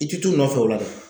I ti t'u nɔfɛ o la.